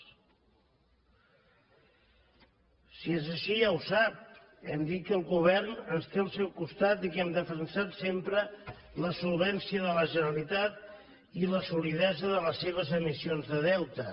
si és així ja ho sap hem dit que el govern ens té al seu costat i que hem defensat sempre la solvència de la generalitat i la solidesa de les seves emissions de deute